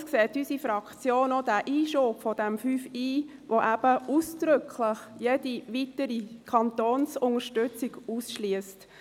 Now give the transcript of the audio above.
Allerdings sieht unsere Fraktion auch, dass dieser Einschub von Ziffer 5 Buchstabe i ausdrücklich jede weitere Kantonsunterstützung ausschliesst.